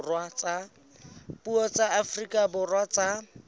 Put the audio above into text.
dipuo tsa afrika borwa tsa